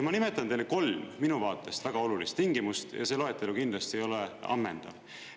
Ma nimetan teile kolm minu vaatest väga olulist tingimust, ja see loetelu kindlasti ei ole ammendav.